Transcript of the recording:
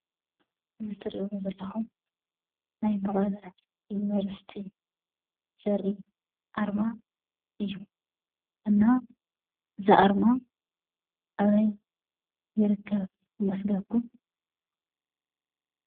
እዚ ትርእይዎ ዘለኹም ናይ መቐለ ዩኒቨርስቲ ዘርኢ ኣርማ እዩ። እና እዚ ኣርማ ኣበይ ይርከብ ይመስለኩም።